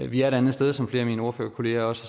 vi er et andet sted som flere af mine ordførerkolleger også